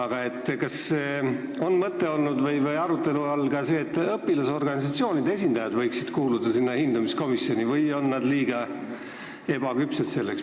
Kas on välja käidud mõte või olnud arutelu all ka see, et õpilasorganisatsioonide esindajad võiksid hindamiskomisjoni kuuluda või on nad selleks liiga ebaküpsed?